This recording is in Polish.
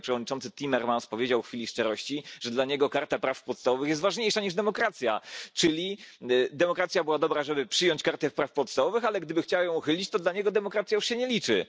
Wczoraj przewodniczący Timmermans powiedział w chwili szczerości, że dla niego Karta Praw Podstawowych jest ważniejsza niż demokracja, czyli demokracja była dobra, żeby przyjąć Kartę Praw Podstawowych, ale gdyby chciał ją uchylić, to dla niego demokracja już się nie liczy.